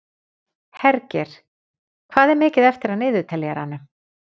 Hergeir, hvað er mikið eftir af niðurteljaranum?